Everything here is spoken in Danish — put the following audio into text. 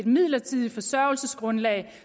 midlertidigt forsørgelsesgrundlag